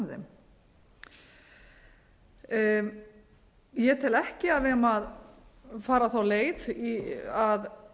keypt af þeim ég tel ekki að við eigum að fara þá leið að